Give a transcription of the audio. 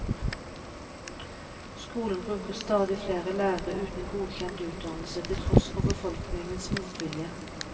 Skolen bruker stadig flere lærere uten godkjent utdannelse, til tross for befolkningens motvilje.